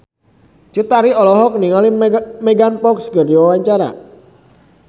Cut Tari olohok ningali Megan Fox keur diwawancara